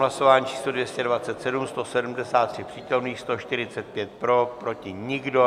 Hlasování číslo 227, 173 přítomných, 145 pro, proti nikdo.